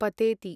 पतेति